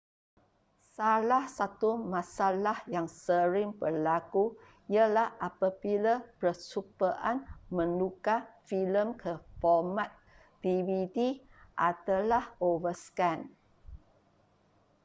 salah satu masalah yang sering berlaku ialah apabila percubaan menukar filem ke format dvd adalah overscan